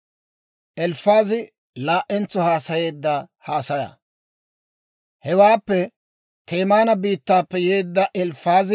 Hewaappe Temaana biittaappe yeedda Elifaazi hawaadan yaagiide zaareedda;